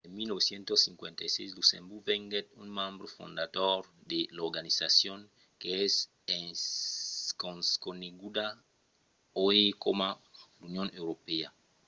en 1957 luxemborg venguèt un membre fondador de l'organizacion qu'es coneguda uèi coma l'union europèa